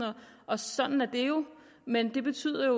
og sådan er det jo men det betyder